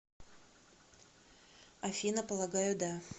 афина полагаю да